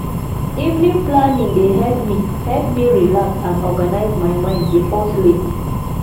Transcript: evening planning dey help me help me relax and organize my mind before sleep